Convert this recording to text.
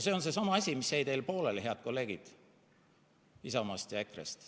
See on seesama asi, mis jäi teil pooleli, head kolleegid Isamaast ja EKRE-st.